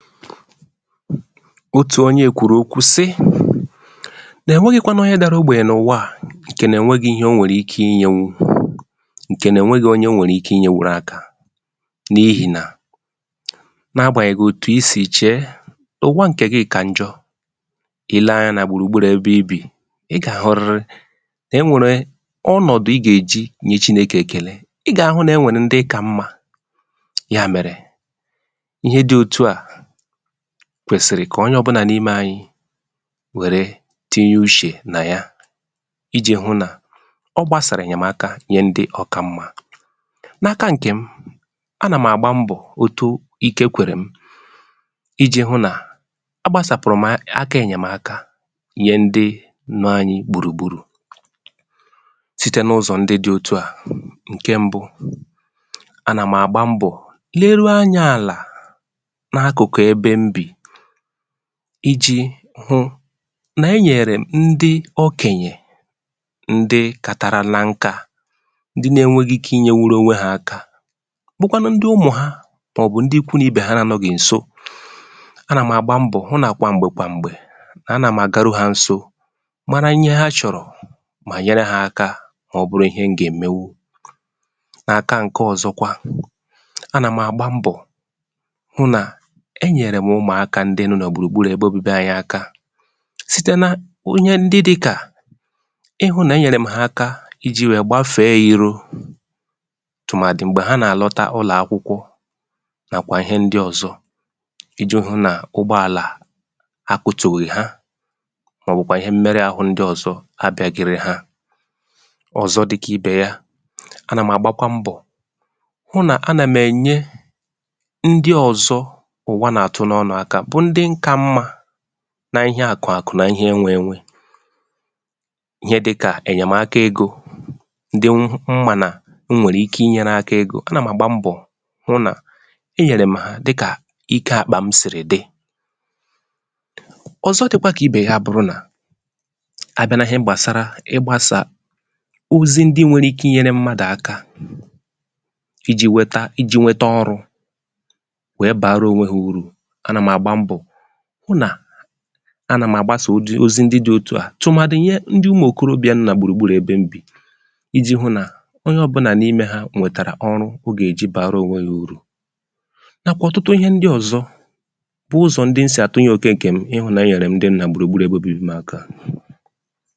otù onyē kwùrù okwu sị, nà e nwẹghị̄ kwanụ onye dara ogbè n’ụ̀wà, ǹkẹ nà ẹ̀ nwẹghị ịhẹ ọ nwẹ̀rẹ̀ ike ị nyẹnwu, ǹkẹ̀ nà ẹ̀ nwẹghị̄ onye ọ nwẹ̀rẹ̀ ike ị nyẹnwụrụ aka, n’ihì nà, na agbànyẹghị̀ òtù ị sì chẹ̀ẹ, nà ụ̀wa ǹkẹ̀ gị kà njọ, ị lẹ anyā nà gbùrù gburù ẹbẹ ị bị̀, ị gà àhụrịrị nà ẹ nwẹ̀re ọnọ̀dụ ị gà è ji nye chinekè èkèle. ị gà àhụ nà ọ nwẹ̀ ndị ị kà mmā. yà mẹ̀rẹ̀, ihe dị otu à, kwẹsị̀rị kà onye ọbụnà n’imē anyị wẹ̀rẹ tinye uchè nà ya, I jì hụ nà ọ gbasàrà aka ẹ̀nyẹ̀maka nyẹ ndị ọ kà mmā. na aka ǹkèm, a nà m̀ àgba mbọ̀ otu ike kwẹ̀rẹ̀ m, ijī hụ nà a gbasàpụ̀rụ m aka ẹ̀nyẹ̀maka nyẹ ndị nọ anyị gbùrù gburù, site n’ụzọ̀ ndị dị òtu à. ǹkẹ mbụ, a nà m̀ àgba mbọ̀, leruo anyā àlà, na akụ̀kụ̀ ẹbẹ m bì, I jī hụ nà ẹ nyẹ̀rẹ̀ m ndị okènyè ndị katarala nkā, ndị na enweghi ike ị nyẹnwụrụ onwe ha aka, bụkwa nụ ndị ụmụ̀, mà ọ̀ bụ̀ ndị ikwu n’ibè ha anọ̀ghị̀ ǹso. a nà m̀ àgba mbọ̀ hụ nà kwà m̀gbè kwà m̀gbè, a nà m àgaru ha nso, mara ihe ha chọ̀rọ̀, mà nyere ha aka, mà ọ bụrụ ịhẹ m gà ẹ̀mẹnwụ. n’aka ǹkẹ ọzọkwa, a nà m̀ àgba mbọ̀ hụ nà ẹ nyẹ̀rẹ m umụ̀aka ndị nọ nà gbùrù gburù ẹbẹ obibi anyị aka, site na ịhẹ ndị dị kà ịhụ̄ nà e nyèrè m ha aka ijī wẹ gbafe iro, tụ̀màdị̀ m̀gbè ha nà àlọta n’ụlọ̀ akwụkwọ, nàkwà ịhẹ ndị ọzọ, ijụ̄ nà ụgbọàlà a kutùghị̀ ha, mà ọ̀ bụ̀kwànụ ịhẹ mmẹrụ ahụ ndị ọ̀zọ, abịāgẹrẹ ha. ọ̀zọ dị kà ibè ya. a nà m̀ àgbakwa mbọ̀ hụ nà a nà m̀ ẹ̀nyẹ ndị ọ̀zọ ụ̀wa nà àtụ n’ọnụ̄ aka, bụ ndị m ka mmā, na ịhẹ àkụ̀ àkụ̀, na ihe enwē enwe, ịhẹ dị kà ẹ̀nyẹ̀maka egō, ndị m mà nà m nwẹ̀rẹ̀ ike ị nyẹrē aka egō. a nà m̀ àgba mbọ̀ hụ nà ẹnyẹ̀rè m dị kà ike àkpà m sị̀rị̀ dị. ọ̀zọ dịkwa kà ibè ya abụrụ nà, abiịa nà ihe gbàsara ịgbāsà ozi nwere ike ị nyere mmadù aka, ijī wẹta, ijī nwẹtẹ ọrụ̄, wẹ bara onwe ha urù, a nà m̀ àgba mbọ̀, hụ nà, a nà m̀ àgbasà ozi ndị di ̣ otu à, tụ̀màdị̀ ịhẹ ndị ụmụ̀ òkorobịà nọ nà gbùrù gburù ebe m bì, ijī hụ nà onye ọbụnà n’imē ha nwẹ̀tàrà ọrụ o gà è jị bàara ònwe ya urù, nàkwà ọ̀tụtụ ịhẹ ndị ọ̀zọ, bụ ụzọ̀ ndị m sì àtụnyẹ òke ǹkẹ̀ m, ịhụ̄ nà ẹnyẹ̀rẹ ndị gbùrù gburù ebe obibi m aka.